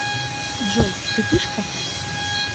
джой ты пышка